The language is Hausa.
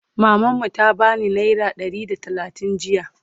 maman mu ta bani naira Ɗari da talatin jiya